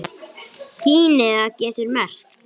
Gínea getur merkt